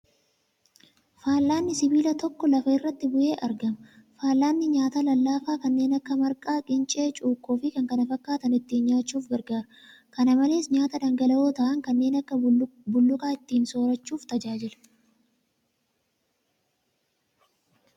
Fal'aanni sibiila tokko lafa irratti bu'ee argama. Fal'aanni nyaataa lallaafaa kanneen akka marqaa , qincee , cukkoo , fi kan kana fakkaatan ittiin nyaachuuf gargaara. Kana malees, nyaata dhangala'oo ta'an kanneen akka bulluqaa ittiin soorachuuf tajaajila.